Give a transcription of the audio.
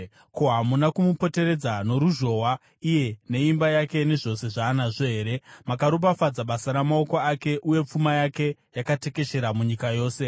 Ko, hamuna kumupoteredza noruzhowa iye neimba yake nezvose zvaanazvo here? Makaropafadza basa ramaoko ake, uye pfuma yake yakatekeshera munyika yose.